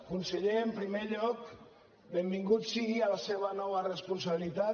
conseller en primer lloc benvingut sigui a la seva nova responsabilitat